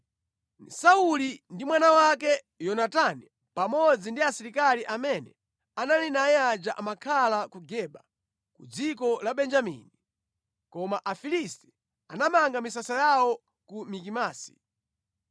Sauli ndi mwana wake Yonatani pamodzi ndi asilikali amene anali naye aja amakhala ku Geba ku dziko la Benjamini. Koma Afilisti anamanga misasa yawo ku Mikimasi.